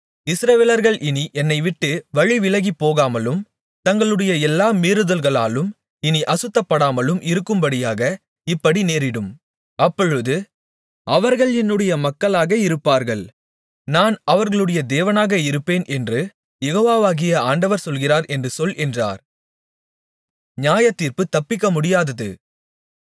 இஸ்ரவேலர்கள் இனி என்னைவிட்டு வழிவிலகிப்போகாமலும் தங்களுடைய எல்லா மீறுதல்களாலும் இனி அசுத்தப்படாமலும் இருக்கும்படியாக இப்படி நேரிடும் அப்பொழுது அவர்கள் என்னுடைய மக்களாக இருப்பார்கள் நான் அவர்களுடைய தேவனாக இருப்பேன் என்று யெகோவாகிய ஆண்டவர் சொல்கிறார் என்று சொல் என்றார்